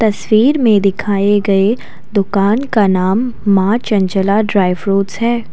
तस्वीर में दिखाए गए दुकान का नाम मां चंचला ड्राई फ्रूट्स है।